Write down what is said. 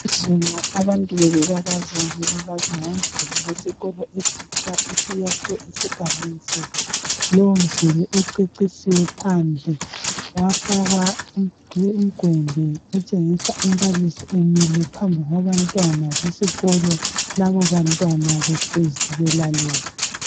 Izolo abantu bebebabaza, bebabaza ngomduli wesikolo esitsha esiyakhwe esigabeni sethu lowomduli ucecisiwe phandle wafakwa umgwembe otshengisa umbalisi emile phambi kwabantwana besikolo labobantwana behlezi belalele.